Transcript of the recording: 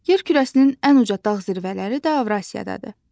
Yer kürəsinin ən uca dağ zirvələri də Avrasiyadadır.